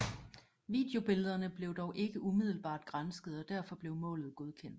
Videobillederne blev dog ikke umiddelbart gransket og derfor blev målet godkendt